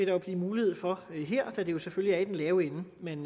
jo blive mulighed for her da det jo selvfølgelig er den lave ende man